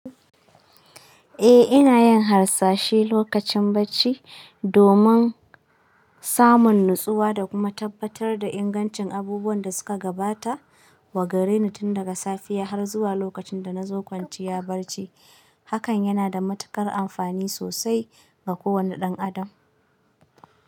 E ina yin hasashe lokacin bacci, domin samun nutsuwa da kuma tabbatar da ingancin abubuwan da suka gabata wa gareni tun daga safiya har zuwa lokacin da na zo kwanciya bacci. Hakan yana da matuƙar amfani sosai ga kowanne ɗan adam.